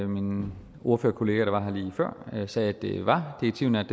min ordførerkollega her lige før sagde at det var direktivnært